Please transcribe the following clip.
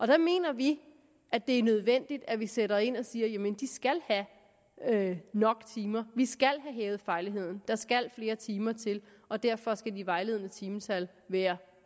der mener vi at det er nødvendigt at vi sætter ind og siger at de skal have nok timer vi skal have hævet fagligheden der skal flere timer til og derfor skal det vejledende timetal være